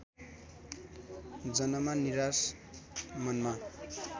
जनमा निराश मनमा